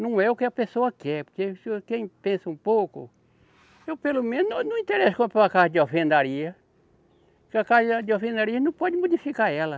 Não é o que a pessoa quer, porque quem pensa um pouco. Eu, pelo menos, eu não me interessa comprar uma casa de alvenaria, porque a casa de alvenaria não pode modificar ela.